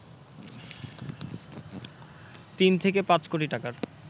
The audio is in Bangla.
তিন থেকে পাঁচ কোটি টাকার